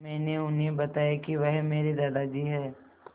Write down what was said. मैंने उन्हें बताया कि वह मेरे दादाजी हैं